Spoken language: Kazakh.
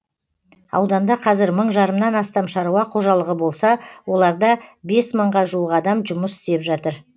ауданда қазір мың жарымнан астам шаруа қожалығы болса оларда бес мыңға жуық адам жұмыс істеп жатыр